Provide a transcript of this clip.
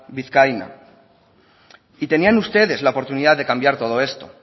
vizcaína y tenían ustedes la oportunidad de cambiar todo esto